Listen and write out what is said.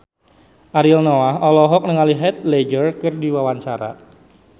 Ariel Noah olohok ningali Heath Ledger keur diwawancara